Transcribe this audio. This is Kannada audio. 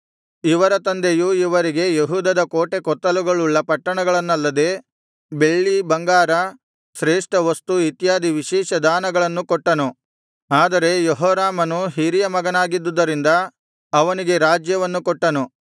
ಇವರ ತಂದೆಯು ಇವರಿಗೆ ಯೆಹೂದದ ಕೋಟೆಕೊತ್ತಲಗಳುಳ್ಳ ಪಟ್ಟಣಗಳನ್ನಲ್ಲದೆ ಬೆಳ್ಳಿ ಬಂಗಾರ ಶ್ರೇಷ್ಠವಸ್ತು ಇತ್ಯಾದಿ ವಿಶೇಷ ದಾನಗಳನ್ನು ಕೊಟ್ಟನು ಆದರೆ ಯೆಹೋರಾಮನು ಹಿರಿಯ ಮಗನಾಗಿದ್ದುದರಿಂದ ಅವನಿಗೆ ರಾಜ್ಯವನ್ನು ಕೊಟ್ಟನು